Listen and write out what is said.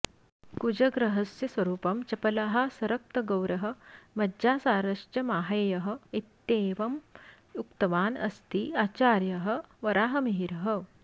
कुजग्रहस्य स्वरुपं चपलः सरक्तगौरः मज्जासारश्च माहेयः इत्येवम् उक्तवान् अस्ति आचार्यः वराहमिहिरः